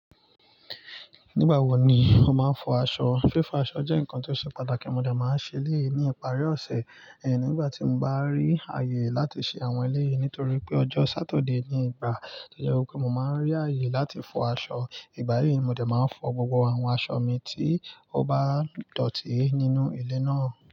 Nígbà wo ni o máa ń fọ aṣọ? Fífọ aṣọ jẹ́ nǹkan tó ṣe pàtàkì, mo dẹ̀ máa ń ṣe elẹ́yi ni ìparí ọ̀sẹ̀, ẹhin nígbà tí mo bá rí ààyè láti ṣe àwọn ẹlẹ́ẹ̀ yí nítorí pé ọjọ́ Sátidé ni ìgbà to je wipe mo máa ń rí ààyè láti fọ aṣọ. Ìgbà yí, mo dẹ̀ máa ń fọ gbogbo àwọn aṣọ mi tí ó bá dọ̀tí nínú ilé náà.